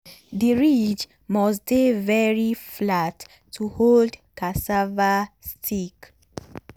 the ridge must dey very flat to hold cassava stick.